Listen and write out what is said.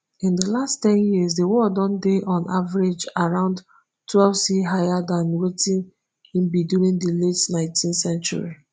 in di last ten years di world don dey on average around twelvec higher dan wetin e be during di late nineteenth century